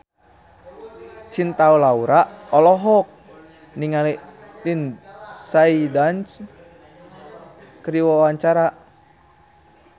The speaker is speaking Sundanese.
Cinta Laura olohok ningali Lindsay Ducan keur diwawancara